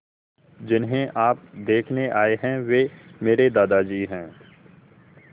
जिन्हें आप देखने आए हैं वे मेरे दादाजी हैं